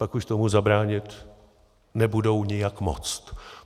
Pak už tomu zabránit nebudou nijak moct.